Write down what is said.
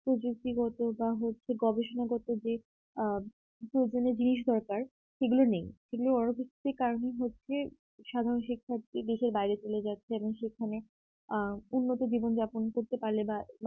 প্রবৃত্তিগত বা হচ্ছে গবেষণাগত দিক আ প্রয়োজনীয় জিনিস দরকার সেগুলো নেই সেগুলো কারণ হচ্ছে সাধারণ শিক্ষার্থী দেশের বাইরে চলে যাচ্ছে এবং সেখানে আ উন্নত জীবনযাপন করতে পারলে বা